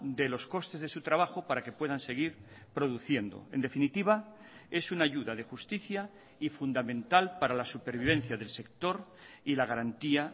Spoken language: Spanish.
de los costes de su trabajo para que puedan seguir produciendo en definitiva es una ayuda de justicia y fundamental para la supervivencia del sector y la garantía